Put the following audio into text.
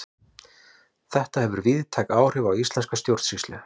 Þetta hefur víðtæk áhrif á íslenska stjórnsýslu.